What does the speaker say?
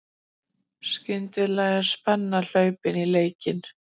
Skyndilega er spenna hlaupin í leikinn